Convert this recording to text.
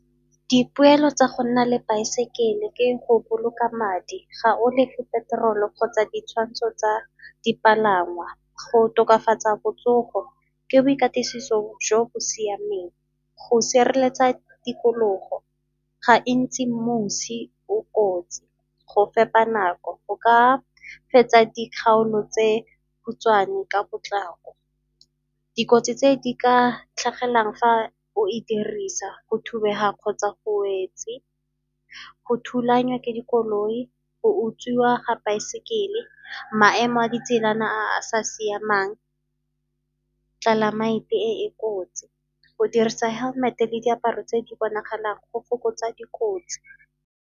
Dipoelo tsa go nna le baesekele ke go boloka madi, ga o lefe peterolo kgotsa ditshwantsho tsa dipalangwa. Go tokafatsa botsogo ke boikatisiso jo bo siameng. Go sireletsa tikologo gantsi mosi o kotsi, go fepa nako go ka fetsa dikgaolo tse khutshwane ka potlako. Dikotsi tse di ka tlhagelelang fa o e dirisa, go thubega kgotsa go wetse, go thulanya ke dikoloi, utswiwa ga saekele, maemo a ditselana a sa siamang, climate e e kotsi, go dirisa helmet-e le diaparo tse di bonagalang go fokotsa dikotsi.